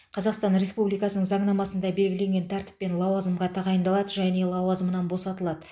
қазақстан республикасының заңнамасында белгіленген тәртіппен лауазымға тағайындалады және лауазымынан босатылады